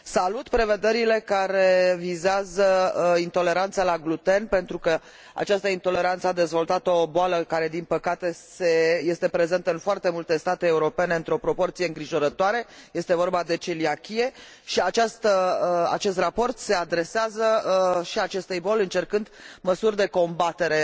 Salut prevederile care vizează intoleranța la gluten, pentru că această intoleranță a dezvoltat o boală care, din păcate, este prezentă în foarte multe state europene într o proporție îngrijorătoare, este vorba de celiachie și acest raport se adresează și acestei boli, încercând măsuri de combatere